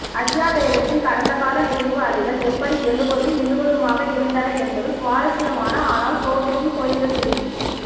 அஜ்யாபேகத்தின் கடந்தகால நினைவு அலைகள் எப்படி எழுவதும் விழுவதுமாக இருந்தன என்பது சுவாரஸ்யமான ஆனால் சோகமும் தோய்ந்த செய்தி